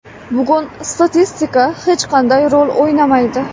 Bugun statistika hech qanday rol o‘ynamaydi.